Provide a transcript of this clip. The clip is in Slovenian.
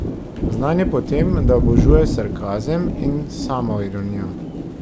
Znan je po tem, da obožuje sarkazem in samoironijo.